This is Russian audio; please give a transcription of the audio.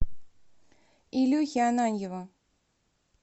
илюхи ананьева